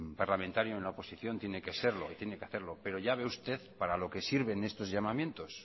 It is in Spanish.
parlamentario en la oposición tiene que serlo y tiene que hacerlo pero ya ve usted para lo que sirven estos llamamientos